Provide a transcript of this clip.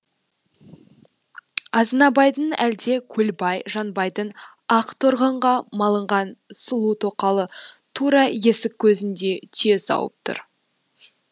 азынабайдың әлде көлбай жанбайдың ақ торғынға малынған сұлу тоқалы тура есік көзінде түйе сауып тұр